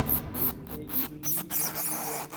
игры эчтуди на ютюбе